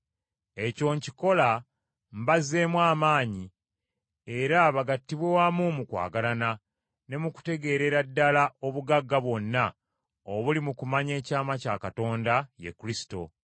Ekyo nkikola mbazzeemu amaanyi era bagattibwe wamu mu kwagalana, ne mu kutegeerera ddala obugagga bwonna obuli mu kumanya ekyama kya Katonda, ye Kristo.